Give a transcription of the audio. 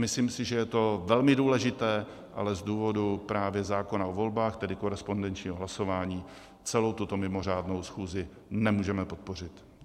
Myslím si, že je to velmi důležité, ale z důvodu právě zákona o volbách, tedy korespondenčního hlasování, celou tuto mimořádnou schůzi nemůžeme podpořit.